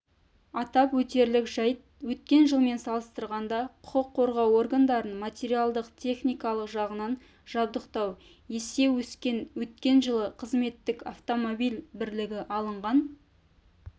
атап өтерлік жайт өткен жылмен салыстырғанда құқық қорғау органдарын материалдық-техникалық жағынан жабдықтау есе өскен өткен жылы қызметтік автомобиль бірлігі алынған